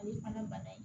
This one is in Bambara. O ye fana bana ye